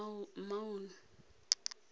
maun